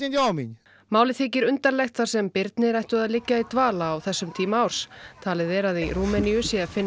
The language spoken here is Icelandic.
málið þykir undarlegt þar sem birnir ættu að liggja í dvala á þessum tíma árs talið er að í Rúmeníu sé að finna